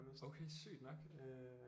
Okay sygt nok øh